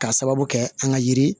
K'a sababu kɛ an ka yiri